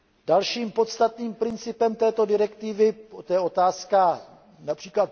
Dalším podstatným principem této direktivy je otázka např.